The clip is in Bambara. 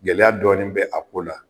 Gɛlɛya dɔɔni bɛ a ko la.